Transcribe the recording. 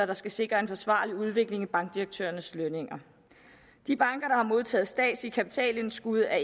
der skal sikre en forsvarlig udvikling i bankdirektørernes lønninger de banker der har modtaget statsligt kapitalindskud er